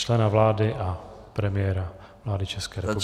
Člena vlády a premiéra vlády České republiky.